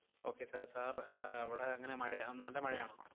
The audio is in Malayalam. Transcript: Okay sir, sir ആഹ് അവിടെ എങ്ങനയാ? മഴയാ~ നല്ല മഴയാണോ?